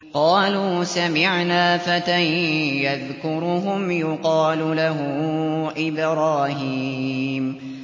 قَالُوا سَمِعْنَا فَتًى يَذْكُرُهُمْ يُقَالُ لَهُ إِبْرَاهِيمُ